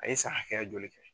A ye san hakɛya joli kɛ